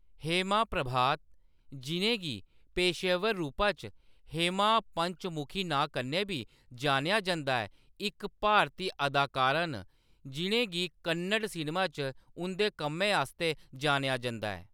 हेमा प्रभात, जिʼनें गी पेशेवर रूपा च हेमा पंचमुखी नांऽ कन्नै बी जानेआ जंदा ऐ, इक भारती अदाकारा न जिʼनें गी कन्नड़ सिनेमा च उंʼदे कम्मै आस्तै जानेआ जंदा ऐ।